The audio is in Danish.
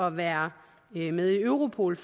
at være med i europol